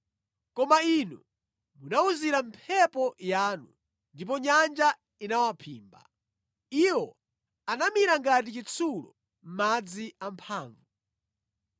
Koma Inu munawuzira mphepo yanu, ndipo nyanja inawaphimba. Iwo anamira ngati chitsulo mʼmadzi amphamvu.